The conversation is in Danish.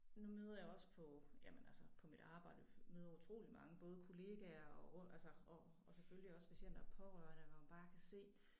Nu møder jeg også på jamen altså på mit arbejde møder utrolig mange både kollegaer og altså og selvfølgelig også patienter og pårørende hvor man bare kan se